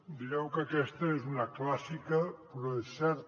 direu que aquesta és una clàssica però és certa